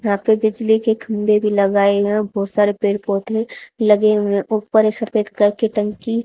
यहां पे बिजली के खंभे भी लगाए हैं बहुत सारे पेड़ पौधे लगे हुए हैं ऊपर एक सफेद कलर के टंकी--